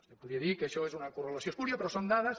es podria dir que això és una correlació espúria però son dades